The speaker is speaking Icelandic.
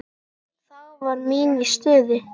Þá var mín í stuði.